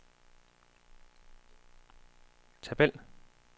tabel